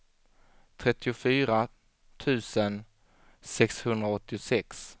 trettiofyra tusen sexhundraåttiosex